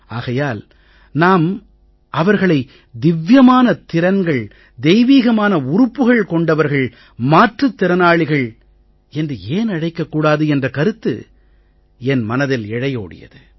ஆகையால் நாம் அவர்கள் திவ்யமான திறன்கள் தெய்வீகமான உறுப்புக்கள் கொண்டவர்கள் மாற்றுத் திறனாளிகள் என்று ஏன் அழைக்கக் கூடாது என்ற கருத்து என் மனதில் இழையோடியது